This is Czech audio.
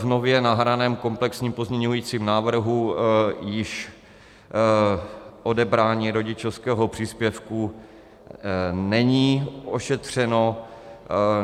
V nově nahraném komplexním pozměňovacím návrhu již odebrání rodičovského příspěvku není ošetřeno.